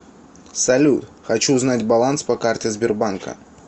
салют хочу узнать баланс по карте сбербанка